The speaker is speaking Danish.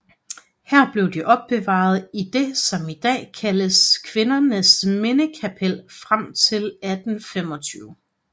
Her blev de opbevaret i det som i dag kaldes Kvinnenes Minnekapell frem til 1825